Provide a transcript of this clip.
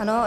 Ano.